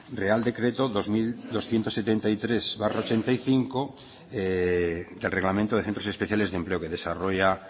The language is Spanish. real decreto dos mil doscientos setenta y tres barra ochenta y cinco del reglamento de centros especiales de empleo que desarrolla